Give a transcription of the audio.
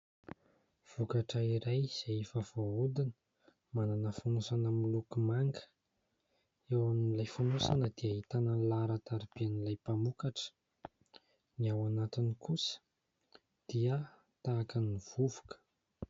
Vokatra iray izay efa voahodina, manana fonosana miloko manga, eo amin'ilay fonosana dia ahitana ny laharan-tarobian'ny mpamokatra, ny ao anatiny kosa dia tahaka ny vovoka.